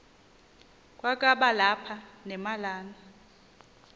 kwakaba lapha nemalana